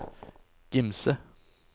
Gimse